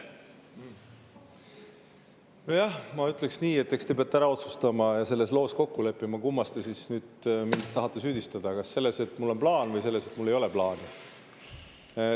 Nojah, ma ütleksin nii, et eks te peate ära otsustama ja selles loos kokku leppima, et kummas te siis nüüd mind tahate süüdistada: kas selles, et mul on plaan, või selles, et mul ei ole plaani.